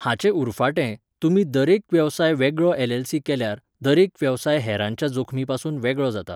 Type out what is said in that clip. हाचे उरफाटें, तुमी दरेक वेवसाय वेगळो एलएलसी केल्यार, दरेक वेवसाय हेरांच्या जोखमी पसून वेगळो जाता.